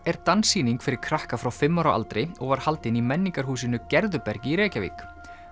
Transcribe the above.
er dansýning fyrir krakka frá fimm ára aldri og var haldin í menningarhúsinu Gerðubergi í Reykjavík